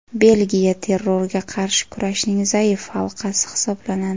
Belgiya terrorga qarshi kurashning zaif halqasi hisoblanadi.